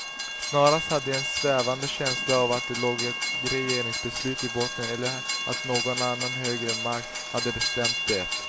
Snarast hade jag en svävande känsla av att det låg ett regeringsbeslut i botten eller att någon annan högre makt hade bestämt det.